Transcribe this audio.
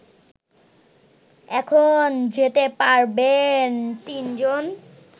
এখন যেতে পারবেন তিনজন